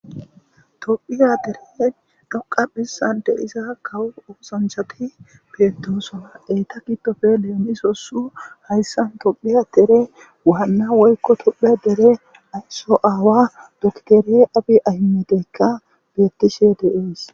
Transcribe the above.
Tophiyas deren dhoqqa bessan de'iya kawo osanchatj betosona, tophiyas deren waana woyko tophiyas deren aysao aawa abiy ahimedeyka de'es